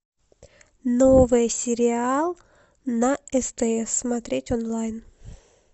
новый сериал на стс смотреть онлайн